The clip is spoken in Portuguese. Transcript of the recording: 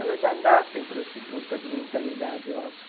Elas já nascem prostituta de mentalidade, eu acho.